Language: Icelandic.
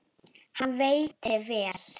Hann veitti vel